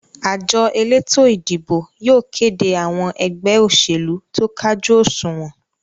àjọ elétò-ìdìbò yóò kéde àwọn ẹgbẹ́ òṣèlú tó kájú òsùnwọ́n.